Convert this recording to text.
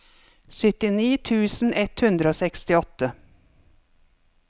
syttini tusen ett hundre og sekstiåtte